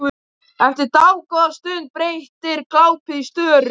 Eftir dágóða stund breytist glápið í störu.